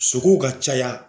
Sogow ka caya